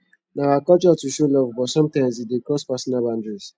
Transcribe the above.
na our culture to show love but sometimes e dey cross personal boundaries